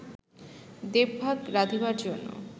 দেবভাগ রাধিবার জন্য